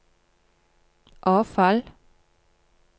avfall